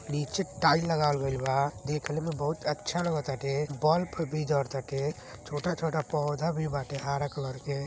नीचे टाइल लगावल गइल बा। देखने में बहुत अच्छा लगत बाटे। बल्फ भी जरताटे। छोटा छोटा पौधा भी बाटे हरा कलर के।